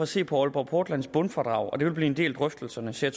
se på aalborg portlands bundfradrag det vil blive en del af drøftelserne sagde